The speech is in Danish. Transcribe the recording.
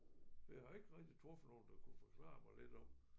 Jeg har ikke rigtig truffet nogen der kunne forklare mig lidt om